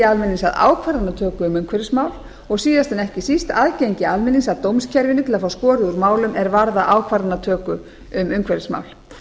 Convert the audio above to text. almennings að ákvarðanatöku um umhverfismál og síðast en ekki síst aðgengi almennings að dómskerfinu til að fá skorið úr málum er varða ákvarðanatöku um umhverfismál